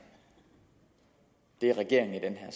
er regeringen